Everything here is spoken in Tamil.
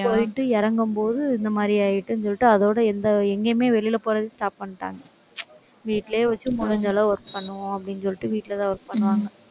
போயிட்டு இறங்கும்போது, இந்த மாதிரி ஆயிட்டுன்னு சொல்லிட்டு, அதோட எந்த, எங்கேயுமே வெளியில போறதுக்கு stop பண்ணிட்டாங்க வீட்டிலேயே வச்சு, முடிஞ்ச அளவு work பண்ணுவோம் அப்படின்னு சொல்லிட்டு, வீட்டுலதான் work பண்ணுவாங்க